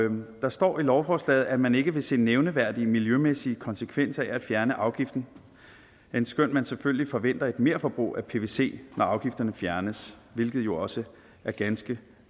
der står i lovforslaget at man ikke vil se nævneværdige miljømæssige konsekvenser af at fjerne afgiften endskønt man selvfølgelig forventer et merforbrug af pvc når afgifterne fjernes hvilket jo også er ganske